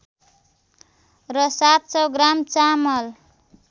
र ७०० ग्राम चामल